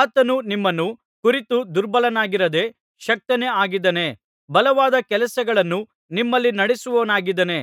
ಆತನು ನಿಮ್ಮನ್ನು ಕುರಿತು ದುರ್ಬಲನಾಗಿರದೆ ಶಕ್ತನೇ ಆಗಿದ್ದಾನೆ ಬಲವಾದ ಕೆಲಸಗಳನ್ನು ನಿಮ್ಮಲ್ಲಿ ನಡಿಸುವವನಾಗಿದ್ದಾನೆ